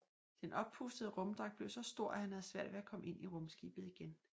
Den oppustede rumdragt blev så stor at han havde svært ved at komme ind i rumskibet igen